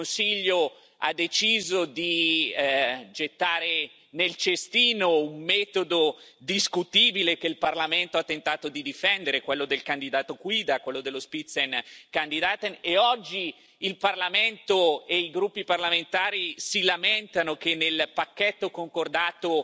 Il Consiglio ha deciso di gettare nel cestino un metodo discutibile che il Parlamento ha tentato di difendere, quello del candidato guida e oggi il Parlamento e i gruppi parlamentari si lamentano che nel pacchetto concordato